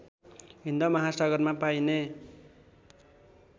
हिन्द महासागरमा पाइने